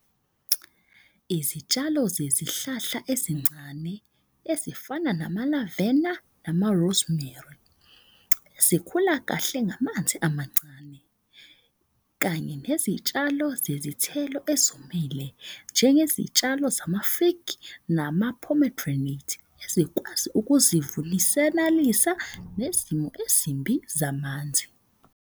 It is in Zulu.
Izitshalo zezihlahla ezincane ezifana nama-lavena nama-rosemary, zikhula kahle ngamanzi amancane. Kanye nezitshalo zezithelo ezomele njengezitshalo zama-fig nama-pomegranate. Ezikwazi ukuzivunisenalisa nezimo ezimbi zamanzi.